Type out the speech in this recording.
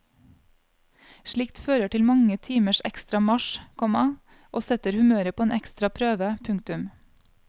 Slikt fører til mange timers ekstra marsj, komma og setter humøret på en ekstra prøve. punktum